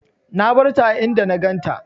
Na barta a inda na ganta.